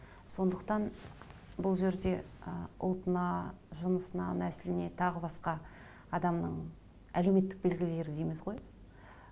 сондықтан бұл жерде ы ұлтына жынысына нәсіліне тағы басқа адамның әлеуметтік белгілері дейміз ғой